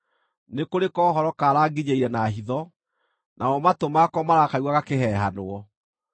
“Nĩ kũrĩ kohoro karanginyĩire na hitho, namo matũ makwa marakaigua gakĩhehanwo.